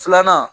Filanan